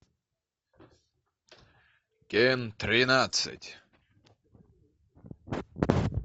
кен тринадцать